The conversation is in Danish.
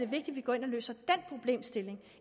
vi går ind og løser den problemstilling